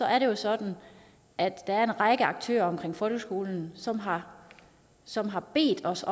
er det jo sådan at der er en række aktører omkring folkeskolen som har som har bedt os